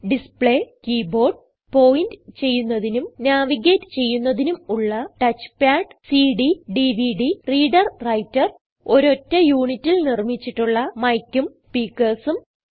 display keyboard point ചെയ്യുന്നതിനും navigate ചെയ്യുന്നതിനും ഉള്ള ടച്ച്പാഡ് cdഡിവിഡി reader വ്രൈട്ടർ ഒരറ്റ യൂണിറ്റിൽ നിർമിച്ചിട്ടുള്ള micഉം speakersഉം